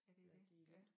Ja det dét de glemt